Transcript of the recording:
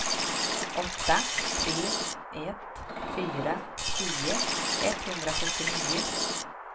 åtta tre ett fyra tio etthundrasjuttionio